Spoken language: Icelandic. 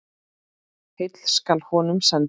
Heill skal honum senda.